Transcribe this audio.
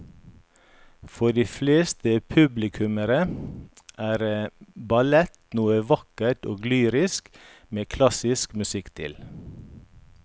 For de fleste publikummere er ballett noe vakkert og lyrisk med klassisk musikk til.